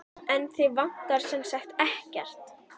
En þig vantar sem sagt ekkert?